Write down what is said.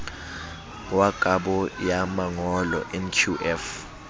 wa kabo ya mangolo nqf